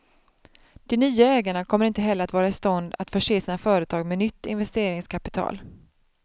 De nya ägarna kommer heller inte att vara i stånd till att förse sina företag med nytt investeringskapital.